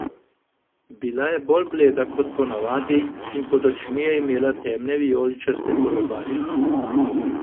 Bila je bolj bleda kot ponavadi in pod očmi je imela temne vijoličaste kolobarje.